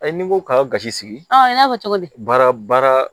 Ayi ni n ko k'a ye gasi sigi y'a fɔ cogo di baara baara